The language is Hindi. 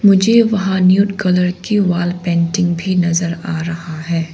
मुझे वहाँ कलर की वॉल पेंटिंग भी नज़र आ रहा है।